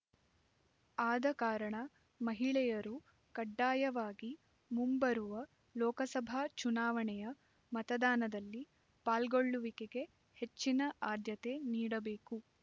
ಆದ ಕಾರಣ ಮಹಿಳೆಯರು ಕಡ್ಡಾಯವಾಗಿ ಮುಂಬರುವ ಲೋಕಸಭಾ ಚುನಾವಣೆಯ ಮತದಾನದಲ್ಲಿ ಪಾಲ್ಗೊಳ್ಳುವಿಕೆಗೆ ಹೆಚ್ಚಿನ ಆದ್ಯತೆ ನೀಡಬೇಕು